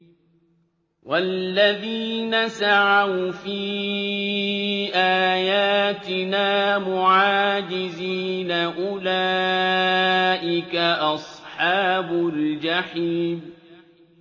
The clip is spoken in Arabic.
وَالَّذِينَ سَعَوْا فِي آيَاتِنَا مُعَاجِزِينَ أُولَٰئِكَ أَصْحَابُ الْجَحِيمِ